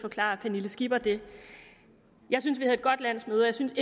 forklare pernille skipper det jeg synes vi havde godt landsmøde og jeg synes